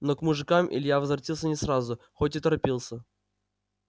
но к мужикам илья возвратился не сразу хоть и торопился